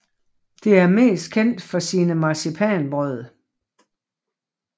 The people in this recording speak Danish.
Det er mest kendt for sine marcipanbrød